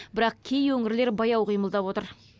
бірақ кей өңірлер баяу қимылдап отыр